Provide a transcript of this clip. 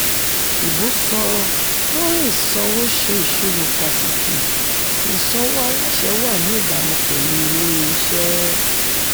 ìbò sọ-lórí-ìsanwó ṣe ìṣirò pàtàkì ìsanwó aláṣẹ wà ní ìbámu pẹ̀lú ilé-iṣẹ́.